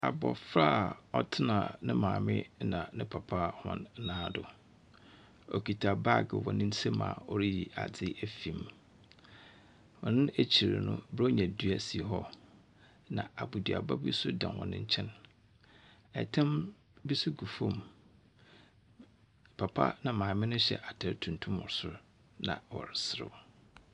Abofra a ɔtsena ne maame na ne papa hɔn nan do, okitsa baage wɔ ne nsamu a oriyi adze efi mu. Hɔn ekyir no, borɔnya dua bi si hɔ na aboduaba bi so da hɔn nkyɛn. tam bi so gu fam. Papa na maame no hyɛ atar tuntum wɔ sor na wɔreserew.